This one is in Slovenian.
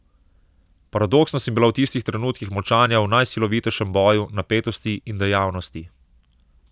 Paradoksno sem bila v tistih trenutkih molčanja v najsilovitejšem boju, napetosti in dejavnosti.